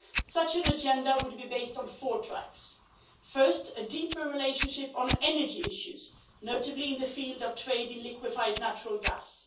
Such an agenda would be based on four tracks first, a deeper relationship on energy issues, notably in the field of trade in liquefied natural gas